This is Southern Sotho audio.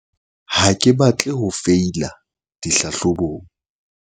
ha ke batle ho feila dihlahlobong